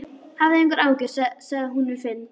Hafðu engar áhyggjur, sagði hún við Finn.